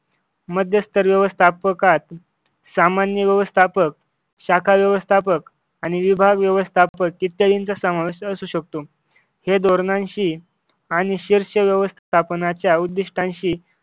मध्यस्तर व्यवस्थापकात सामान्य व्यवस्थापक शाखा व्यवस्थापक आणि विभाग व्यवस्थापक इत्यादींचा समावेश असू शकतो हे धोरणांशी आणि शीर्षक व्यवस्थापनाच्या उद्दिष्टांशी